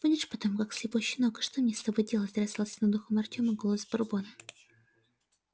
будешь потом как слепой щенок и что мне с тобой делать раздался над ухом артема голос бурбона